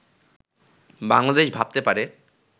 বাংলাদেশ ভাবতে পারে